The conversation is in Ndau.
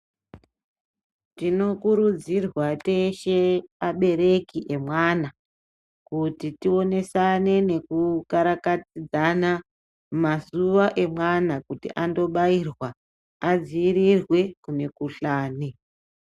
Tinokurudzirwa teshe abereki emwana kuti tionesane nekukarakadzana mazuwa emwana kuti anfobairwa adziirirwe kumikhuhlani.